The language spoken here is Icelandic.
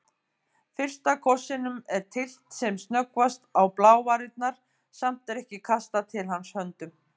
Fyrsta kossinum er tyllt sem snöggvast á blávarirnar, samt er ekki kastað til hans höndum.